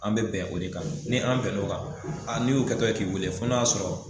An bɛ bɛn o de kan n'an bɛn n'o kan, n'i y'u kɛtɔla ye k'i weele f'o n'a y'a sɔrɔ